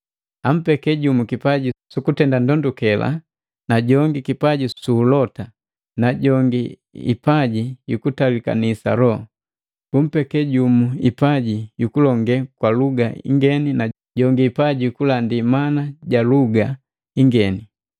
Ampeke jumu kipaji sukutenda ndondukela, jongi kipaji su ulota, na jongi hipaji yukutalikanisa Loho, bumpeke jumu hipaji ja kulonge kwa luga ingeni na jongi hipaji yukulandi mana ja luga ingeni.